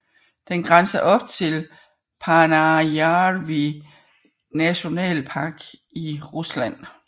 Den grænser op til Paanajärvi National Park i Rusland